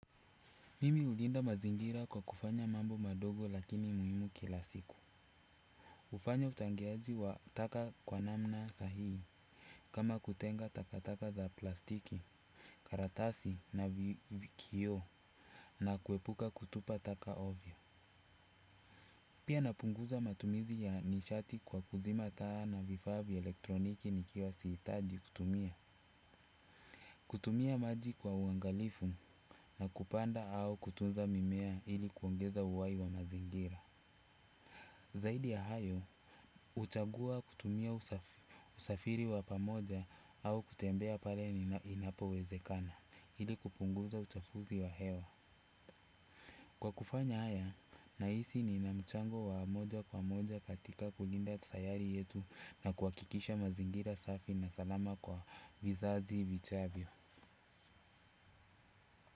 Mimi ulinda mazingira kwa kufanya mambo madogo lakini muhimu kila siku. Ufanya uchangiaji wa taka kwa namna sahii. Kama kutenga takataka za plastiki, karatasi na vikio na kuepuka kutupa taka ovyo pia napunguza matumizi ya nishati kwa kuzima taa na vifaa vya eletroniki nikiwa sihitaji kutumia. Kutumia maji kwa uangalifu na kupanda au kutunza mimea ili kuongeza uwai wa mazingira. Zaidi ya hayo, uchagua kutumia usafiri wa pamoja au kutembea pale ni inapo wezekana. Hili kupunguza uchafuzi wa hewa. Kwa kufanya haya, naisi ni namchango wa moja kwa moja katika kulinda sayari yetu na kuakikisha mazingira safi na salama kwa vizazi vichavyo.